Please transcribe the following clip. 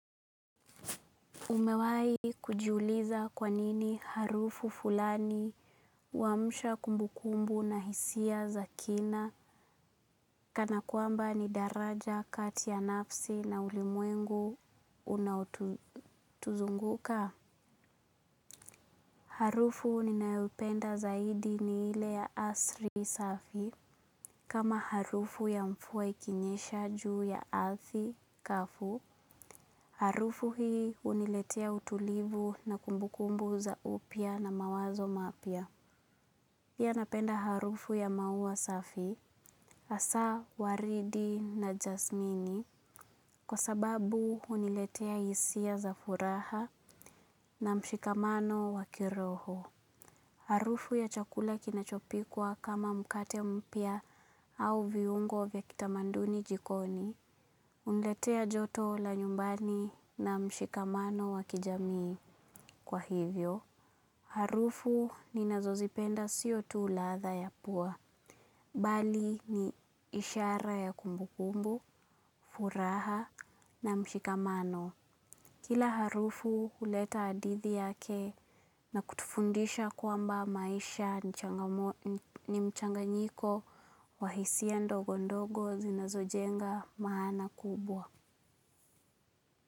Umewai kujiuliza kwa nini harufu fulani huamsha kumbukumbu na hisia za kina kana kwamba ni daraja kati ya nafsi na ulimwengu unaotuzunguka. Harufu ninayopenda zaidi ni ile ya asri safi kama harufu ya mvua ikinyesha juu ya ardhi kavu. Harufu hii huniletea utulivu na kumbukumbu za upya na mawazo mapya. Pia napenda harufu ya maua safi, hasa, waridi na jasmini, kwa sababu huniletea hisia za furaha na mshikamano wa kiroho. Harufu ya chakula kinachopikwa kama mkate mpya au viungo vywa kitamaduni jikoni huniletea joto la nyumbani na mshikamano wa kijamii. Kwa hivyo harufu ninazozipenda sio tu ladha ya pua bali ni ishara ya kumbukumbu, furaha na mshikamano. Kila harufu huleta hadithi yake na kutufundisha kwamba maisha ni mchanganyiko wa hisia ndogo ndogo zinazojenga maana kubwa.